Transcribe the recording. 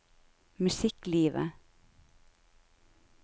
musikklivet